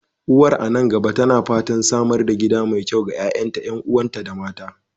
Uwar a nan gaba tana fatan samar da gida mai kyau ga ƴa'ƴanta, ƴan'uwanta, da mata.